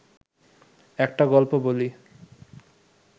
একটা গল্প বলি